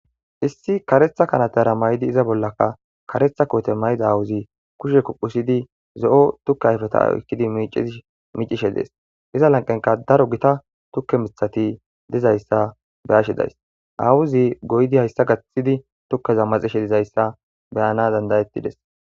Isi kareththa kanetera mayidi iza bolakka kareththa kote mayida awozie kushe kuphphetidi zo'o tukke ayfeta oyqidi micishshe des iza laneqen daeo gita tukke miththati dizayissa beyashshe dayiss awozi goyidi hayissa tukeza daxishshe dizayissa beyanas dand'etidess